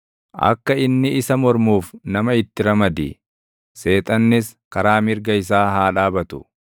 Akka inni isa mormuuf nama itti ramadi; seexannis karaa mirga isaa haa dhaabatu.